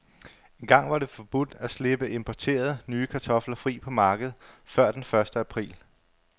Engang var det forbudt at slippe importerede, nye kartofler fri på markedet før den første april.